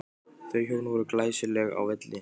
Þau hjón voru glæsileg á velli.